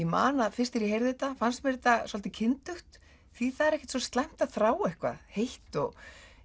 man það fyrst þegar ég heyrði þetta fannst mér þetta svolítið kyndugt því það er ekkert svo slæmt að þrá eitthvað heitt og